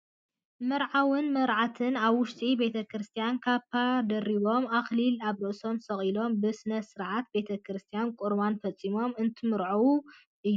መርዓውን መርዓትን ኣብ ውሽጢ ቤተ ክርስትያን ኻባ ደሪቦም ኣክሊል ኣብ ርእሶም ሰቒሎም ብስርዓተ ቤተ ክርስትያን ቑርባን ፈፂሞም እንትምርዓው እዮም ።